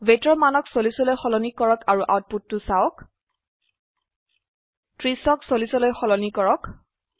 weightৰ মানক ৪০ লৈ সলনি কৰক আৰু আউটপুটটো চাওক 30ক40লৈ সলনি কৰক